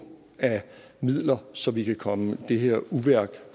af midler så vi kan komme efter det her uvæsen